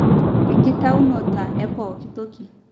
2. enkitaunota e pooki toki